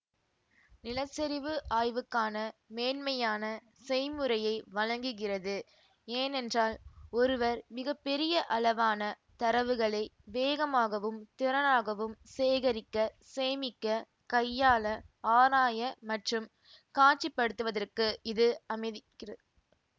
நிலச்சரிவு ஆய்வுக்கான மேன்மையான செய்முறையை வழங்குகிறது ஏனென்றால் ஒருவர் மிக பெரிய அளவான தரவுகளை வேகமாகவும் திறனாகவும் சேகரிக்க சேமிக்க கையாள ஆராய மற்றும் காட்சி படுத்துவதற்கு இது அமைதிக்கிறது